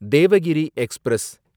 Devagiri express